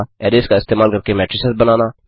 arrays का इस्तेमाल करके मेट्रिसेस बनाना